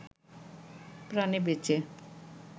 প্রাণে বেঁচে